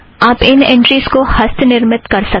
आप इन ऐंट्रीज़ को हस्तनिर्मित कर सकते हैं